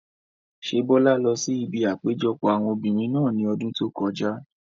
Ṣé Bọ́lá lọ sí ibi àpéjọpọ̀ àwọn obìrin náà ní ọdún tó kọjá?